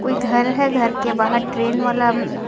कोई घर है घर के बाहर ट्रेन वाला--